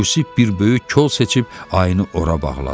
Yusif bir böyük kol seçib ayını ora bağladı.